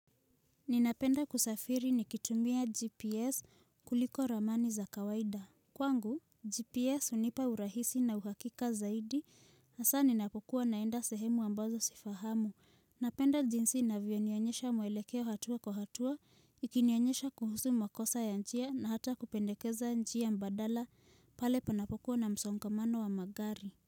Ninapenda kusafiri nikitumbia GPS kuliko ramani za kawaida. Kwangu, GPS hunipa urahisi na uhakika zaidi na saa ninapokuwa naenda sehemu ambazo sifahamu. Napenda jinsi na vionionyesha muelekeo hatua kwa hatua, ikinionyesha kuhusu makosa ya njia na hata kupendekeza njia mbadala pale panapokuwa na msongamano wa magari.